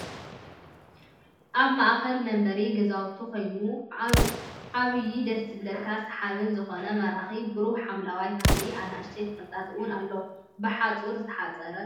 ኣብ ማአከል መንበሪ ገዛውቲ ኮይኑ ኣብዩ ደስ ዝብለካን ስሓብን ዝኮነ ማራኪ ብሩህ ሓምለዋይ ተክሊ ኣንኣሽተይ ትክልታትን እውን ኣሎ ብሓፆር ዝትሓፀረ እዩ።